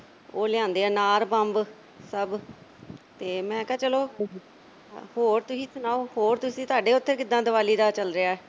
ਉਹ ਲਿਆਂਦੇ ਆ ਅਨਾਰ ਬੰਬ ਸਭ ਤੇ ਮੈਂ ਕਿਹਾ ਚਲੋ ਹੋਰ ਤੁਸੀਂ ਸੁਣਾਓ ਹੋਰ ਤੁਹਾਡੇ ਉਥੇ ਕਿੱਦਾਂ ਦੀਵਾਲੀ ਦਾ ਉਹ ਚੱਲ ਰਿਹਾ।